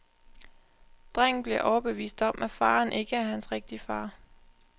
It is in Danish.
Drengen bliver overbevist om, at faderen ikke er hans rigtige fader.